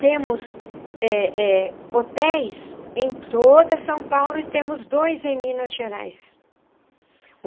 Temos eh eh hotéis em toda São Paulo e temos dois em Minas Gerais.